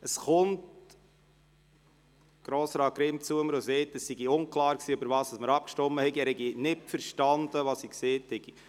Jetzt kommt Grossrat Grimm zu mir und sagt, es sei unklar gewesen, worüber abgestimmt wurde, und er habe nicht verstanden, was ich gesagt hatte.